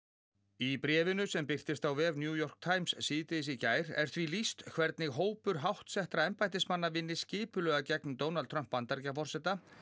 í bréfinu sem birtist á vef New York Times síðdegis í gær er því lýst hvernig hópur háttsettra embættismanna vinni skipulega gegn Donald Trump Bandaríkjaforseta